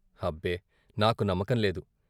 అబ్బే, నాకు నమ్మకం లేదు.